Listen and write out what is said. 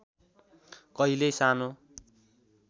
कहिल्यै सानो